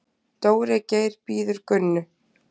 Dóri Geir bíður Gunnu.